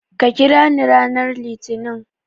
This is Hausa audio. Ka kirani ranar Litinin.